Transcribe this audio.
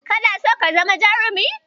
Kana so ka zama jarumi?